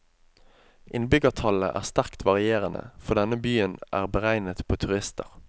Innbyggertallet er sterkt varierende, for denne byen er beregnet på turister.